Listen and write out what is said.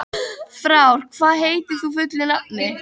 Frár, hvað heitir þú fullu nafni?